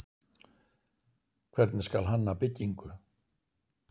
hvernig skal hanna byggingu